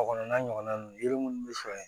A kɔnɔna ɲɔgɔnna ninnu yiri munnu sɔrɔ